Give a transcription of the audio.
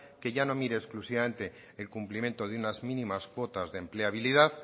que ya no mira exclusivamente el cumplimiento de unas mínimas cuotas de empleabilidad